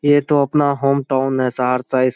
ये तो अपना होम टाउन है सार साइस--